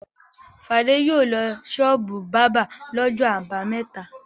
Fadé yóò lọ ṣọ́ọ́bù bábà lọ́jọ́ àbámẹ́ta.